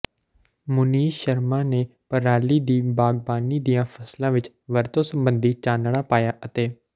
ਮੁਨੀਸ਼ ਸ਼ਰਮਾ ਨੇ ਪਰਾਲੀ ਦੀ ਬਾਗਬਾਨੀ ਦੀਆਂ ਫਸਲਾਂ ਵਿੱਚ ਵਰਤੋਂ ਸੰਬੰਧੀ ਚਾਨਣਾ ਪਾਇਆ ਅਤੇ ਡਾ